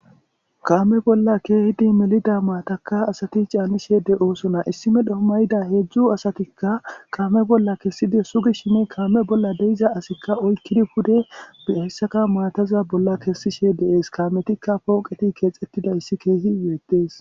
kaame bolla keehidi melida maatakka asati caallishe de7osona issime dhoomayida heedzdzu asatikka kaame bolla kessidi sugi shimi kaame bolla deiza asikka oykkidi pude bi hessaka maataza bolla kessishe de7es kaametikka pooqeti keexettida issi keehi beettees